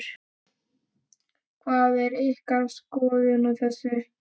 Hver er ykkar skoðun á þessu?